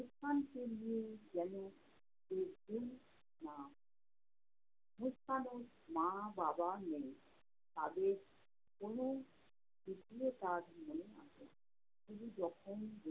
মুসকানকে নিয়ে যেন কেনো না, মুসকানের মা-বাবা নেই। তাদের কোনো দ্বিতীয় কাজ নেই হাতে, শুধু যখন